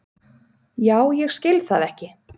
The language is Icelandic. já ég skil það ekki